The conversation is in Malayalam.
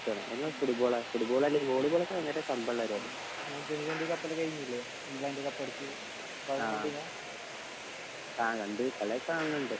എന്ന ഫുട്ബോൾ ഫുട്ബാൾ അല്ലെങ്കിൽ വോളിബോൾ ഭയങ്കര കമ്പം ഉള്ള കാര്യാ ആഹ് ഇണ്ട് കളി ഒക്കെ കാണലിണ്ട്